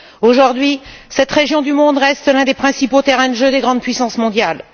Aujourd'hui, cette région du monde reste l'un des principaux terrains de jeu des grandes puissances mondiales.